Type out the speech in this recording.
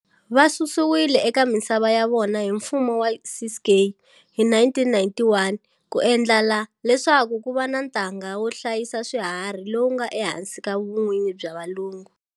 Va susiwile eka misava ya vona hi mfumo wa Ciskei hi 1991 ku endlela leswaku ku va na ntanga wo hlayisa swiharhi lowu nga ehansi ka vun'winyi bya valungu.